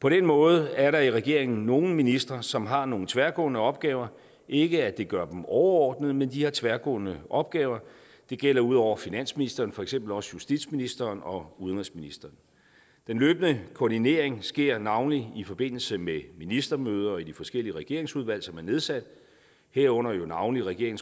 på den måde er der i regeringen nogle ministre som har nogle tværgående opgaver ikke at det gør dem overordnede men de har tværgående opgaver det gælder ud over finansministeren for eksempel også justitsministeren og udenrigsministeren den løbende koordinering sker navnlig i forbindelse med ministermøder og i de forskellige regeringsudvalg som er nedsat herunder jo navnlig regeringens